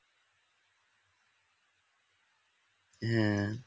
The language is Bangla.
হ্যাঁ